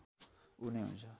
ऊ नै हुन्छ